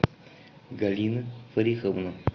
галина фариховна